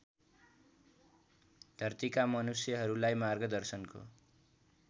धरतीका मनुष्यहरूलाई मार्गदर्शनको